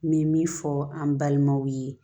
N bɛ min fɔ an balimaw ye